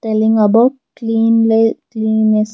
Telling above cleanly cleaness --